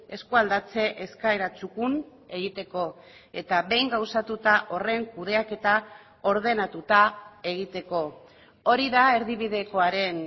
eskualdatze eskaera txukun egiteko eta behin gauzatuta horren kudeaketa ordenatuta egiteko hori da erdibidekoaren